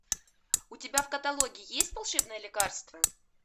у тебя в каталоге есть волшебное лекарство